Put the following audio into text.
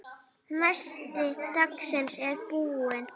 Nesti dagsins er búið.